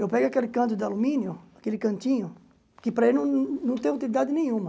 Eu pego aquele canto de alumínio, aquele cantinho, que para ele não não tem utilidade nenhuma.